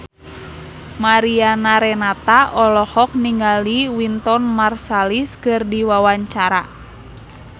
Mariana Renata olohok ningali Wynton Marsalis keur diwawancara